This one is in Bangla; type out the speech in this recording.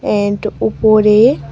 এন্ট উপরে।